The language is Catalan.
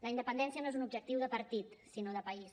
la independència no és un objectiu de partit sinó de país